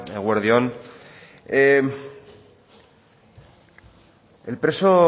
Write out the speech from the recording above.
eguerdi on el preso